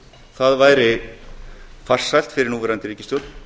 það væri farsælt fyrir núverandi ríkisstjórn